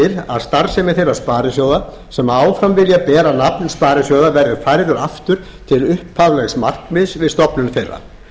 að starfsemi þeirra sparisjóða sem áfram vilja bera nafn sparisjóða verði færð aftur til upphaflegs markmiðs við stofnun þeirra